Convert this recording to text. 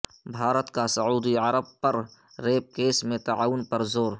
بھارت کا سعودی عرب پر ریپ کیس میں تعاون پر زور